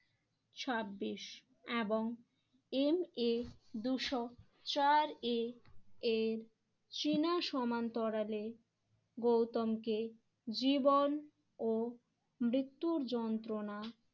ছাব্বিশ এবং MA দুশো চার এ এর চীনা সমান্তরালে গৌতমকে জীবন ও মৃত্যুর যন্ত্রণা